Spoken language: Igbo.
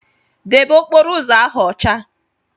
Debe okporo ụzọ ahụ ọcha!